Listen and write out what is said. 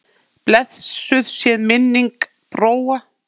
Blessuð sé minning Bróa.